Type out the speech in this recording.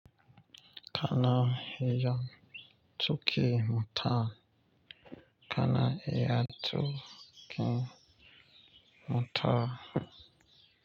Kana iya tuƙin mota. Kana iya tuƙi mota.